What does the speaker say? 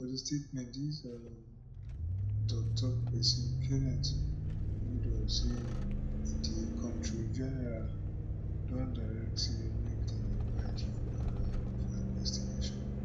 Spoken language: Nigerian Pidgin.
for di statement nis um toktok pesin kenneth udo say di comptroller general don direct say make dem invite di woman um for investigation